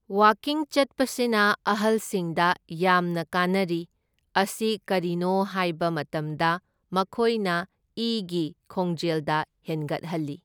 ꯋꯥꯀꯤꯡ ꯆꯠꯄꯁꯤꯅ ꯑꯍꯜꯁꯤꯡꯗ ꯌꯥꯝꯅ ꯀꯥꯟꯅꯔꯤ ꯑꯁꯤ ꯀꯩꯔꯤꯅꯣ ꯍꯥꯏꯕ ꯃꯇꯝꯗ ꯃꯈꯣꯢꯅ ꯏꯒꯤ ꯈꯣꯡꯖꯦꯜꯗ ꯍꯦꯟꯒꯠꯍꯜꯂꯤ꯫